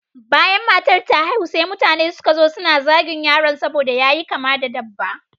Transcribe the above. Bayan matar ta haihu, sai mutane suka zo suna zagin yaron saboda ƴaƴa kama da dabba.